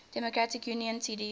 democratic union cdu